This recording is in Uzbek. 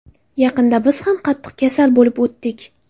Yaqinda biz ham qattiq kasal bo‘lib o‘tdik.